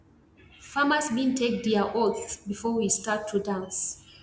farmers bin take dia oaths before we start to dance